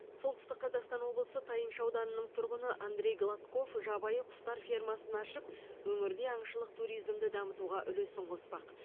солтүстік қазақстан облысы тайынша ауданының тұрғыны андрей гладков жабайы құстар фермасын ашып өңірде аңшылық туризмді дамытуға үлесін қоспақ